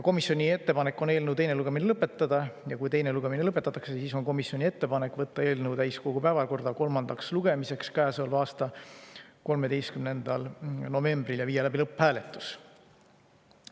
Komisjoni ettepanek on eelnõu teine lugemine lõpetada ja kui teine lugemine lõpetatakse, siis on komisjoni ettepanek võtta eelnõu täiskogu päevakorda kolmandaks lugemiseks käesoleva aasta 13. novembril ja viia läbi lõpphääletus.